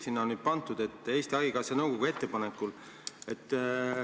Sinna on nüüd pandud juurde "Eesti Haigekassa nõukogu ettepanekul".